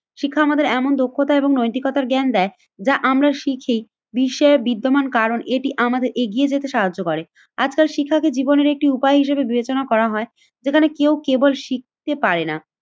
শিক্ষা আমাদের এমন দক্ষতা এবং নৈতিকতার জ্ঞান দেয় যা আমরা শিখি বিশ্বের বিদ্যমান কারণ, এটি আমাদের এগিয়ে যেতে সাহায্য করে। আজকাল শিক্ষাকে জীবনের একটি উপায় হিসেবে বিবেচনা করা হয়। যেখানে কেউ কেবল শিখতে পারেনা,